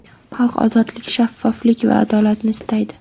Xalq ozodlik, shaffoflik va adolatni istaydi.